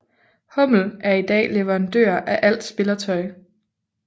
Hummel er i dag leverandør af alt spillertøj